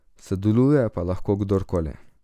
Sodeluje pa lahko kdorkoli.